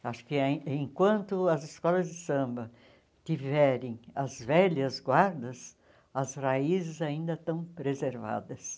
Acho que ain enquanto as escolas de samba tiverem as velhas guardas, as raízes ainda estão preservadas.